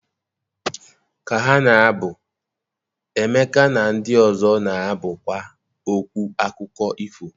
ka ha na-abụ, Emeka na ndị ọzọ na-abụkwa okwu akụkọ ifo.